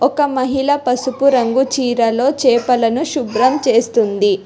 ఒక మహిళ పసుపు రంగు చీరలో చేపలను శుభ్రం చేస్తుంది.